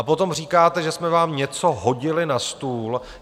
A potom říkáte, že jsme vám něco hodili na stůl.